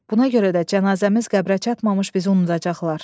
Buna görə də cənazəmiz qəbrə çatmamış bizi unudacaqlar.